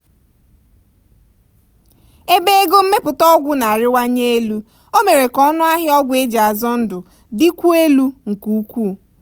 ebe ego mmepụta ọgwụ na-arịwanye elu o mere ka ọnụ ahịa ọgwụ eji azọ ndụ dịkwuo elu nke ukwuu.